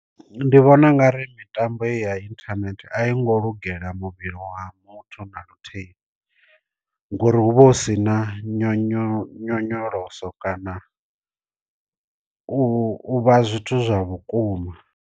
Ndi vhona ungari mitambo i ya inthanethe a i ngo lugela muvhili wa muthu na luthihi ngori hu vha hu si na nyonyo nyonyoloso kana u vha zwithu zwa vhukuma.